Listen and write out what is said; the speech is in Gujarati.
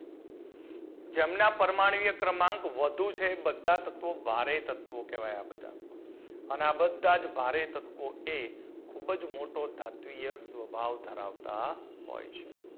જેમના પરમાણિય ક્રમાંક વધુ છે એ બધા તત્વો ભારે તત્વો કહેવાય આ બધા અન આ બધા જ ભારે તત્વો એ ખૂબ જ મોટો ધાત્વિય સ્વભાવ ધરાવતા હોય છે.